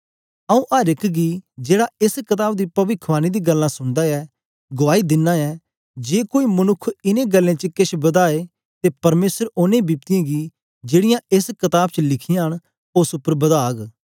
आऊँ अर एक गी जेड़ा एस कताब दी पविखवाणी दी गल्लां सुनदा ऐ गुआई दिना ऐ जे कोई मनुक्ख इनें गल्लें च किश बदाए ते परमेसर ओनें बिपतियें गी जेड़ीयां एस कताब लिखीयां न उस्स उपर बदाग